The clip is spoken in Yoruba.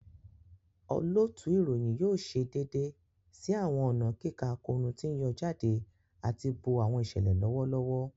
Olootu iroyin yoo ṣe deede si awọn ọna kika akoonu ti n yọ jade ati bo awọn iṣẹlẹ lọwọlọwọ.